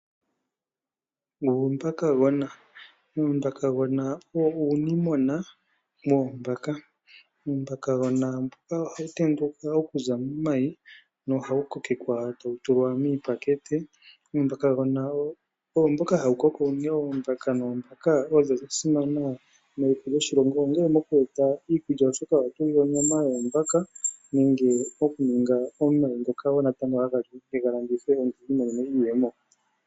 Uumbakagona Uumbakagona owo uunimona woombaka. Uumbakagona ohawu tendulwa okuza momayi nohawu kokekwa tawu tulwa miipakete. Uumbakagona ohawu koko e tawu ningi oombaka oonene. Oombaka odha simana meliko lyoshilongo, ongele omo ku eta iikulya, oshoka otawu gandja onyama nenge okunika omayi ngoka haga vulu okulandithwa omuntu i imonene iiyemo.